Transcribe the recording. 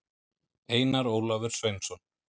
einar ólafur sveinsson